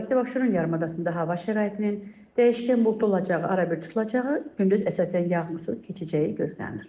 Bakıda Abşeron yarımadasında hava şəraitinin dəyişkən buludlu olacağı, ara-bir tutulacağı, gündüz əsasən yağmursuz keçəcəyi gözlənilir.